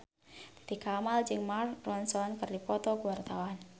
Titi Kamal jeung Mark Ronson keur dipoto ku wartawan